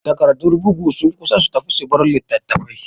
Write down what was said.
Tagardur bugu sun kusa su tafi subar e-littatafai